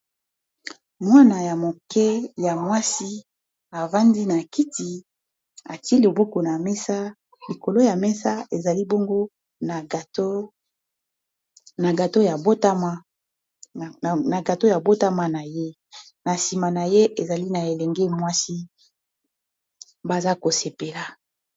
mwana ya moke ya mwasi afandi na kiti ati buku na mesa likolo ya mesa ezali bongo na gato ya mbotama na ye na sima na ye ezali na elengi mwasi baza kosepela.